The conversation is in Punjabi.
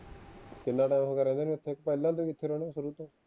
ਕਿੰਨਾ ਹੋ ਗਿਆ ਪਹਿਲਾ ਤੋਂ ਰਹਿੰਦੇ ਸ਼ੁਰੂ ਤੋਂ